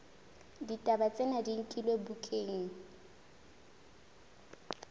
ditaba tsena di nkilwe bukaneng